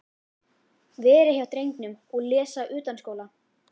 Vera hjá drengnum og lesa utanskóla.